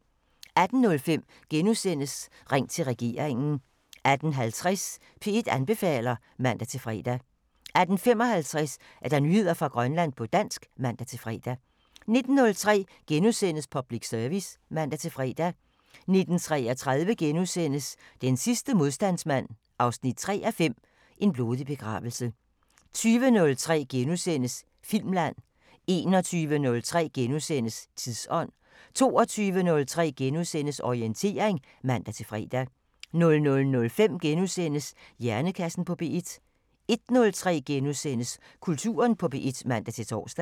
18:05: Ring til regeringen * 18:50: P1 anbefaler (man-fre) 18:55: Nyheder fra Grønland på dansk (man-fre) 19:03: Public Service *(man-fre) 19:33: Den sidste modstandsmand 3:5 – En blodig begravelse * 20:03: Filmland * 21:03: Tidsånd * 22:03: Orientering *(man-fre) 00:05: Hjernekassen på P1 * 01:03: Kulturen på P1 *(man-tor)